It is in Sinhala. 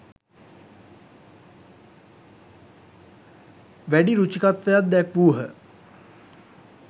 වැඩි රුචිකත්වයක් දැක්වූහ.